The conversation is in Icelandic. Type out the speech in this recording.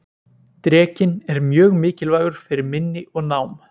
drekinn er mjög mikilvægur fyrir minni og nám